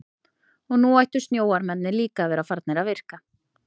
Og nú ættu snjóormarnir líka að vera farnir að virka.